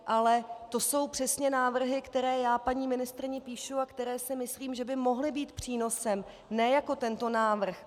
Ale to jsou přesně návrhy, které já paní ministryni píšu a které si myslím, že by mohly být přínosem, ne jako tento návrh.